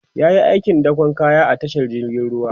yayi aikin dakon kaya a tashar jirgin ruwa